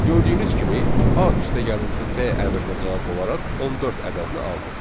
Gördüyünüz kimi A + B əmrinə cavab olaraq 14 ədədini aldıq.